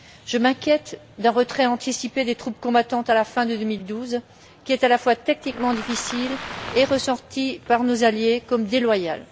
Je m'inquiète d'un retrait anticipé des troupes combattantes à la fin de 2012, qui est à la fois tactiquement difficile et ressenti par nos alliés comme déloyal.